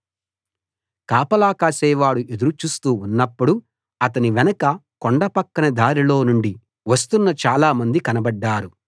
కాపలా కాసేవాడు ఎదురుచూస్తూ ఉన్నప్పుడు అతని వెనక కొండ పక్కన దారిలో నుండి వస్తున్న చాలమంది కనబడ్డారు